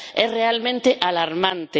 Es realmente alarmante.